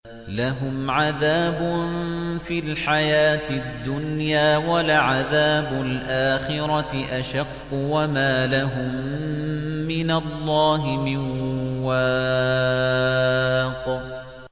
لَّهُمْ عَذَابٌ فِي الْحَيَاةِ الدُّنْيَا ۖ وَلَعَذَابُ الْآخِرَةِ أَشَقُّ ۖ وَمَا لَهُم مِّنَ اللَّهِ مِن وَاقٍ